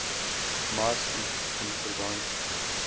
mars ivp binnelandse